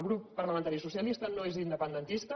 el grup par·lamentari socialista no és independentista